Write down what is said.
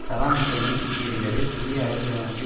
Saddam ஹுசைனை தூக்கியெறிந்தது புதிய அரசியலமைப்பை